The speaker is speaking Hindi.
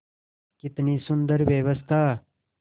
कितनी सुंदर व्यवस्था